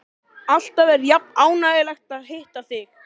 Alltaf er jafn ánægjulegt að hitta þig.